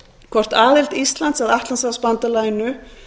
hvort aðild íslands að atlantshafsbandalaginu